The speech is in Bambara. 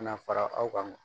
Kana fara aw kan